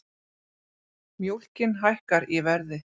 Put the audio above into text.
Mjólkin hækkar í verði